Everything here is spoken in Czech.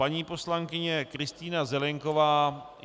Paní poslankyně Kristýna Zelienková.